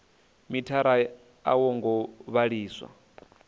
mithara a wo ngo vhalisa